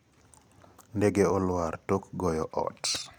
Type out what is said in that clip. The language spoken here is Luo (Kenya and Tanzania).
ndege olwar tok goyo ot.